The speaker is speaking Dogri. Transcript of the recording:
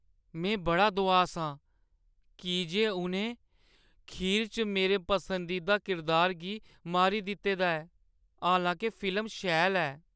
में बड़ा दुआस आं, की जे उʼनें खीर च मेरे पसंदीदा किरदार गी मारी दित्ते दा ऐ, हालां-के फिल्म शैल ऐ ।